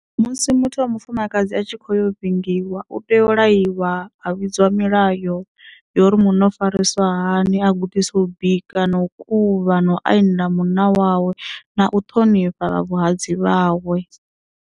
Musi muthu wa mufumakadzi a tshi khouya u vhingiwa u tea u laiwa a vhudziwa milayo yori munna u fariswa hani a gudisiwa u bika na u kuvha na u ainela munna wawe na u ṱhonifha vha vhuhadzi vhawe.